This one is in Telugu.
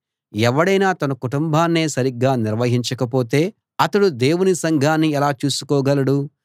ఎవడైనా తన కుటుంబాన్నే సరిగా నిర్వహించకపోతే అతడు దేవుని సంఘాన్ని ఎలా చూసుకోగలడు